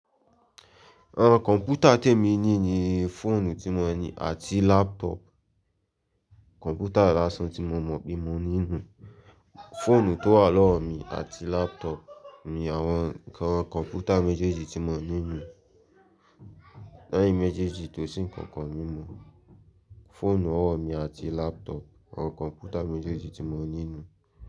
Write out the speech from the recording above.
Àwọn kọ̀ǹpútà tí èmi ní ni fóònù tí mo ní àti laptop. Kọ̀ǹpútà lásan tí mo mọ̀ pé mo ní nù. Fóònù tó wà lọ́wọ́ mi àti laptop ni àwọn ǹkan kọ̀ǹpútà méjèèjì tí mo ní nù. Leyin méjèèjì tó sì ǹkankan mí mọ̀. Fóònù ọwọ́ mi àti laptop, àwọn kọ̀ǹpútà méjèèjì tí mo ní nù.